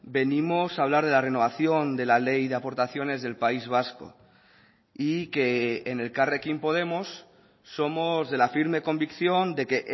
venimos a hablar de la renovación de la ley de aportaciones del país vasco y que en elkarrekin podemos somos de la firme convicción de que